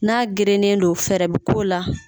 N'a gerennen do fɛɛrɛ bo k'o la.